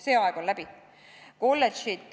See aeg on läbi.